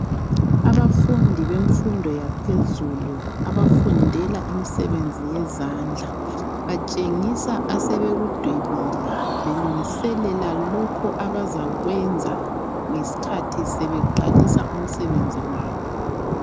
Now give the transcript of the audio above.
Abafundi bemfundo yaphezulu abafundela imisebenzi yezandla batshengisa asebekudwebile belungiselela lokho abazakwenza ngesikhathi sebeqalisa umsebenzi wabo.